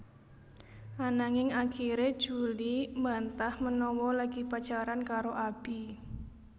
Ananging akiré Julie mbantah menawa lagi pacaran karo Abi